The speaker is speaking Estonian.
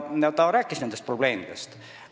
Ta rääkis nendest probleemidest.